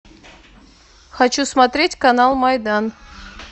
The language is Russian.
хочу смотреть канал майдан